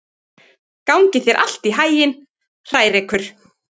Gangi þér allt í haginn, Hrærekur.